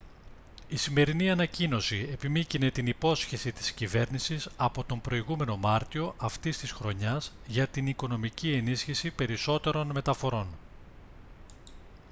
η σημερινή ανακοίνωση επιμύκηνε την υπόσχεση της κυβέρνησης από τον προηγούμενο μάρτιο αυτής της χρονιάς για την οικονομική ενίσχυση περισσότερων μεταφορών